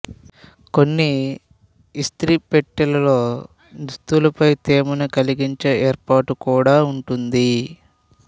కొన్ని ఇస్త్రీ పెట్టెల్లో దుస్తులపై తేమను కలిగించే ఏర్పాటు కూడా ఉంటుంది